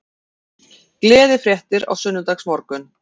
Gleðifréttir á sunnudagsmorgun